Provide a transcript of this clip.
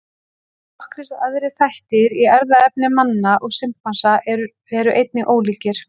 Nokkrir aðrir þættir í erfðaefni manna og simpansa eru einnig ólíkir.